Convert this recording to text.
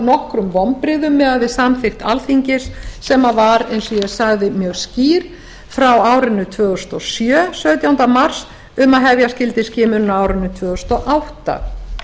nokkrum vonbrigðum miðað við samþykkt alþingis sem var eins og ég sagði mjög skýr frá árinu tvö þúsund og sjö sautjánda mars um að hefja skyldi skimun á árinu tvö þúsund og átta